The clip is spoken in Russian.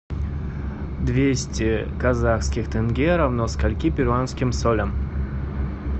двести казахских тенге равно скольки перуанским солям